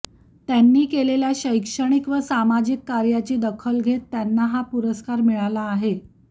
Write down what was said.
त्यांनी केलेल्या शैक्षणिक व सामाजिक कार्याची दखल घेत त्यांना हा पुरस्कार मिळाला आहे